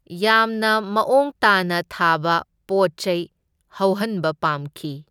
ꯌꯥꯝꯅ ꯃꯑꯣꯡ ꯇꯥꯅ ꯊꯥꯕ ꯄꯣꯠ ꯆꯩ ꯍꯧꯍꯟꯕ ꯄꯥꯝꯈꯤ꯫